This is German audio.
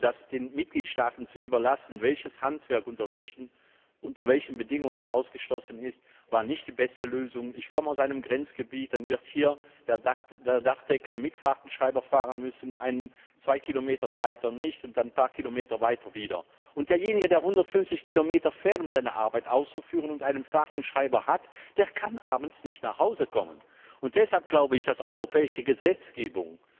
Und ich finde, es den Mitgliedstaaten zu überlassen, welches Handwerk unter welchen Bedingungen ausgeschlossen ist, war nicht die beste Lösung. Ich komme aus einem Grenzgebiet. Mit dieser Regelung wird der Dachdecker in einem Staat mit Fahrtenschreiber fahren müssen, ein oder zwei Kilometer weiter nicht, und ein paar Kilometer weiter wieder schon. Derjenige, der 150 Kilometer fährt, um seine Arbeit auszuführen, und einen Fahrtenschreiber hat, der kann abends nicht nach Hause kommen. Und deshalb glaube ich, dass europäische Gesetzgebung